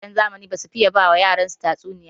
Iyayen zamani basu fiye ba yaransu tatsuniya ba.